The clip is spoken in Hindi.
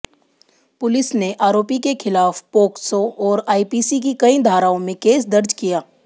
पुलिस ने आरोपी के खिलाफ पोक्सो और आईपीसी की कई धाराओं में केस दर्ज किया